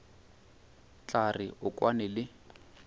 tla re o kwane le